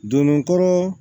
Donn' kɔrɔ